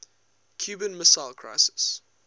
cuban missile crisis